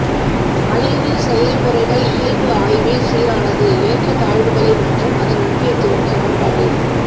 அலைவு செயல்முறைகள் இயல்பு ஆய்வில் சீரானது ஏற்றத்தாழ்வுகளை மற்றும் அதன் முக்கியத்துவம் சமன்பாடு